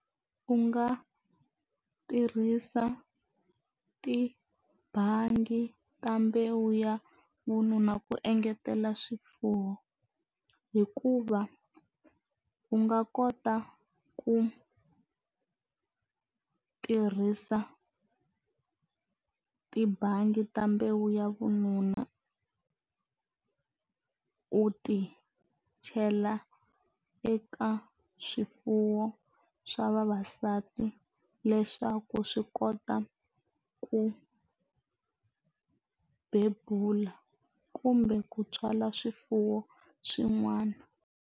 U nga tirhisa tibangi kambe wu ya vununa ku engetela swifuwo hikuva u nga kota ku tirhisa tibangi ta mbewu ya vununa u ti chela eka swifuwo swa vavasati leswaku swi kota ku bebula kumbe ku tswala swifuwo swin'wana.